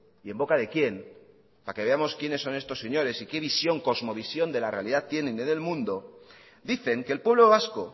y en boca de quién para que veamos quiénes son estos señores y qué visión cosmovisión de la realidad tienen o del mundo dicen que el pueblo vasco